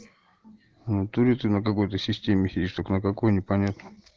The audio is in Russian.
внатури ты на какой-то системе сидишь только на какой непонятно